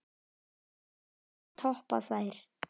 Það mun enginn toppa þær.